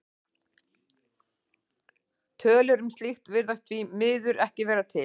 Tölur um slíkt virðast því miður ekki vera til.